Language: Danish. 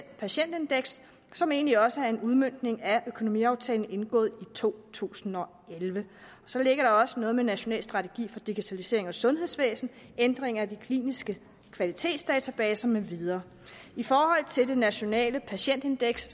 patientindeks som egentlig også er en udmøntning af økonomiaftalen indgået i to tusind og elleve så ligger der også noget om en national strategi for digitalisering af sundhedsvæsenet og ændring af de kliniske kvalitetsdatabaser med videre i forhold til det nationale patientindeks